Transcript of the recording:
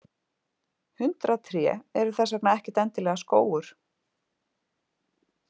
Hundrað tré eru þess vegna ekkert endilega skógur.